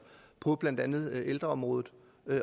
på blandt andet ældreområdet